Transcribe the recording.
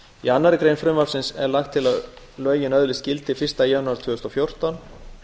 í annarri grein frumvarpsins er lagt til að lögin öðlist gildi fyrsta janúar tvö þúsund og fjórtán